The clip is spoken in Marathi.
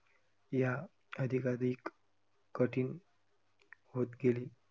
या अधिका अधिक कठीण होत गेली.